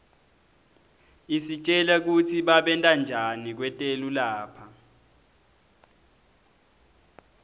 isitjela kutsi babentanjani kwetelu lapha